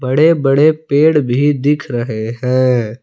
बड़े बड़े पेड़ भी दिख रहे हैं।